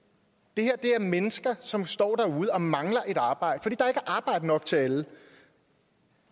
det her er mennesker som står derude og mangler et arbejde er arbejde nok til alle